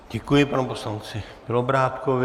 Děkuji panu poslanci Bělobrádkovi.